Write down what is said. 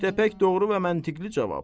İştə pək doğru və məntiqli cavab.